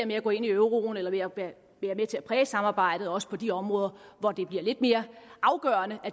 med at gå ind i euroen eller være med til at præge samarbejdet også på de områder hvor det bliver lidt mere afgørende